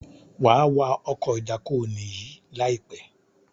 wà wá Ọkọ̀ ìdákoní yí láìpé!